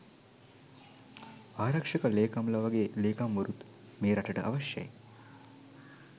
ආරක්ෂක ලේකම්ලා වගේ ලේකම්වරුත් මේ රටට අවශ්‍යයයි.